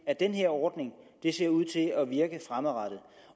at den her ordning virker fremadrettet